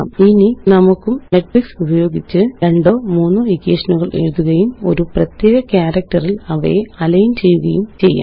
ഇനി നമുക്കും മെട്രിക്സ് ഉപയോഗിച്ച് രണ്ടോ മൂന്നോ ഇക്വേഷനുകള് എഴുതുകയും ഒരു പ്രത്യേക ക്യാരക്റ്ററില് അവയെ അലൈന് ചെയ്യുകയും ചെയ്യാം